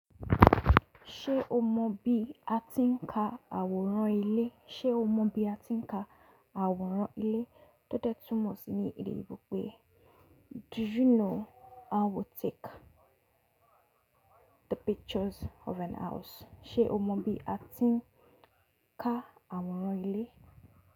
Ṣé o mọ bí a ti ń ka àwòrán ilé? Ṣé o mọ bí a ti ń ka àwòrán ilé? Tóde túmọ̀ sí ní èdè oyinbo pé “Do you know how we take the pictures of an house?”Ṣé o mọ bí a ti ń ka àwòrán ilé?